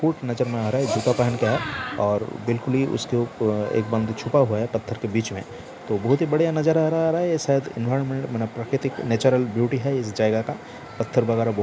boot नजर में आ रहा है जूता पहन के है और बिलकुल ही उसके उप एक बंदा छुपा हुआ है पत्थर के बीच में तो बहोत ही बढ़िया नजारा आ रहा है ये शायद एनवायरनमेंटल यानी प्राकीर्तिक नेचुरल ब्यूटी है इस जगह का पत्थर वगैरह बहु --